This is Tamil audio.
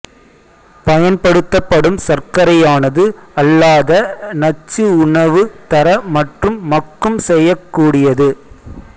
பயன்படுத்தப்படும் சர்க்கரையானது அல்லாத நச்சு உணவு தர மற்றும் மக்கும் செய்யக்கூடியது